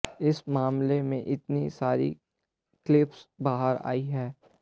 इस मामले में इतनी सारी क्लिप्स बहार आयी है